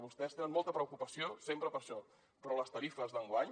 vostès tenen molta preocupació sempre per això però les tarifes d’enguany